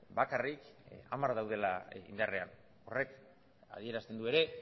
bakarrik hamar daudela indarrean horrek adierazten du ere